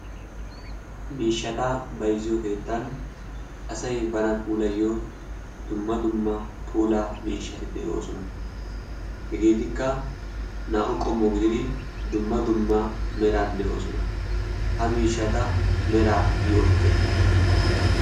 miishshata bayzziyo keettan asai bana puulayyo dumma dumma pula miishshati de'oosona. hegeetikka naa'u qommo gididi dumma dumma meran de'oosona ha miishshata mera yootite?